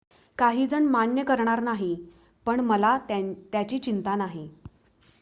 """काहीजण मान्य करणार नाही पण मला त्याची चिंता नाही.